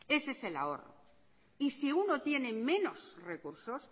ese es el ahorro y si uno tiene menos recursos